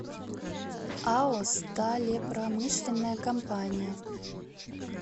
ао сталепромышленная компания